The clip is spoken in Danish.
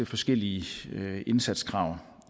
forskellige indsatskrav